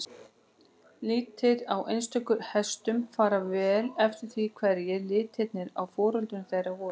Litir á einstökum hestum fara eftir því hverjir litirnir á foreldrum þeirra voru.